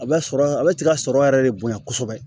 A bɛ sɔrɔ a bɛ tiga sɔrɔ yɛrɛ de bonya kosɛbɛ